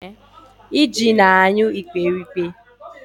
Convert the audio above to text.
Iji na-anyụ ikperipke